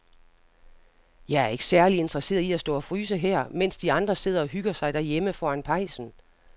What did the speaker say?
Jeg er ikke særlig interesseret i at stå og fryse her, mens de andre sidder og hygger sig derhjemme foran pejsen.